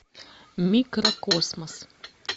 микрокосмос